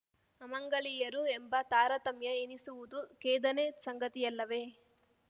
ಅಮಂಗಲಿಯರು ಎಂಬ ತಾರತಮ್ಯ ಎಣಿಸುವುದು ಖೇದನೆ ಸಂಗತಿಯಲ್ಲವೇ